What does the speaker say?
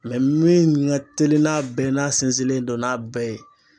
min ka teli n'a bɛɛ n'a sinsinlen don n'a bɛɛ ye.